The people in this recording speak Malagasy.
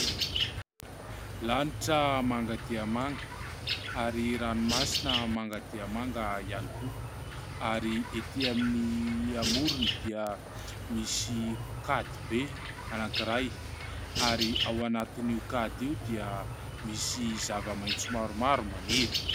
Lanitra manga dia manga, ary rano masina manga dia manga ihany koa ary etỳ amin'ny amorony dia misy kady be anankiray ; ary ao anatin' io kady io dia misy zava-maitso maromaro maniry.